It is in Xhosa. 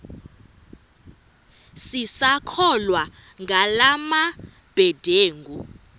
sisakholwa ngala mabedengu